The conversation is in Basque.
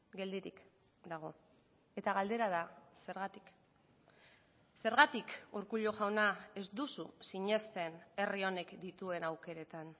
geldirik dago eta galdera da zergatik zergatik urkullu jauna ez duzu sinesten herri honek dituen aukeretan